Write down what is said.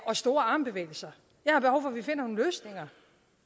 og store armbevægelser jeg